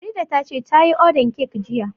Farida ta ce ta yi ordan kek jiya